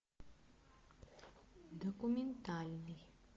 документальный